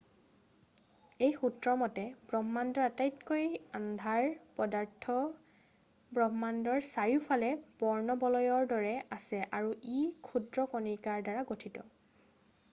এই সূত্ৰৰ মতে ব্ৰহ্মাণ্ডৰ আটাইতকৈ আন্ধাৰ পদাৰ্থ ব্ৰহ্মাণ্ডৰ চাৰিওকাষে বৰ্ণবলয়ৰ দৰে আছে আৰু ই ক্ষুদ্ৰ কণিকাৰ দ্বাৰা গঠিত